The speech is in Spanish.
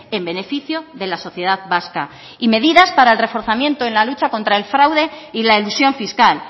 en beneficio de la sociedad vasca y medidas para el reforzamiento en la lucha contra el fraude y la elusión fiscal